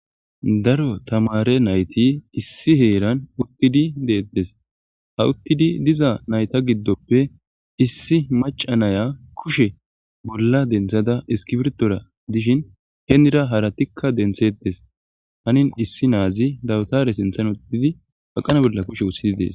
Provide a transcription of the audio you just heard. Daro tamare nayt issi heran utid detes. Ha utid diza nayta gidoppe issi maca Naya kushe bolla denthada iskipirtora dishn henira haratika denthetes, hanin issi naz dawutare Sinthan wothid baqana bolla kushe wothid Des.